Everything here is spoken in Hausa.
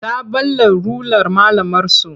Ta ɓalla rular malamarsu.